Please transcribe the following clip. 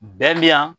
Bɛɛ bɛ yan